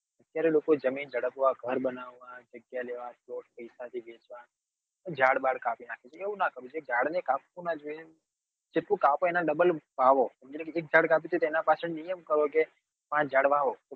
અત્યારે લોકો જમીન જડ્પવા ઘર બનવવા જગ્યા લેવા પ્લોટ પૈસા થી લેવા ઝાડ બાદ કાપી નાખે છે એવું નાં કરવું જોઈએ ઝાડ ને કાપવું નાં જોઈએ જેટલું કાપો એના double વાવો ધારોકે એક ઝાડ કાપ્યું તો તેના પાછળ નિયમ કરો કે પાંચ ઝાડ વાવો